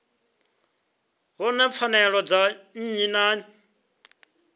vhona pfanelo dza nnyi na